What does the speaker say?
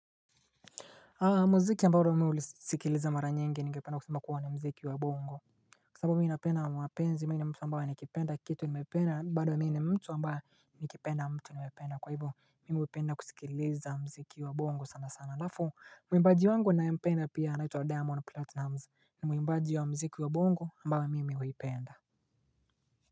Muziki ambayo mimi ulisikiliza mara nyingi ningependa kusema kuwa ni muziki wa bongo Kwa sababu mimi napenda mapenzi. Mimi ni mtu ambaye nikipenda kitu, nimependa, na mimi bado ni mtu ambaye nikipenda mtu, nimependa. Kwa hivyo, mimi hupenda kusikiliza muziki wa bongo sana sana. Halafu, mwimbaji wangu naye mpenda pia anaitwa Diamond Platinumz. Ni mwimbaji wa muziki wa bongo ambayo mimi huipenda.